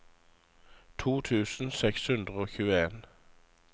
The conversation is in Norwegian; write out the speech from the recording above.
to tusen seks hundre og tjueen